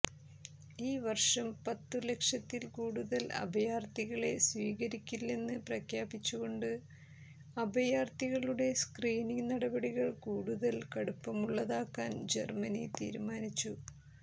ഈ വർഷം പത്തു ലക്ഷത്തിൽ കൂടുതൽ അഭയാർഥികളെ സ്വീകരിക്കില്ലെന്ന് പ്രഖ്യാപിച്ചുകൊണ്ട് അഭയാർഥികളുടെ സ്ക്രീനിങ് നടപടികൾ കൂടുതൽ കടുപ്പമുള്ളതാക്കാൻ ജർമനി തീരുമാനിച്ചു